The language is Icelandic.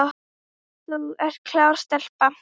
Þú ert klár stelpa.